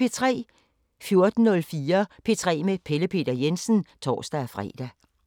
14:04: P3 med Pelle Peter Jensen (tor-fre)